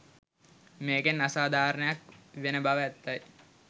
මේකෙන් අසාධාරණයක් වෙන බව ඇත්තයි.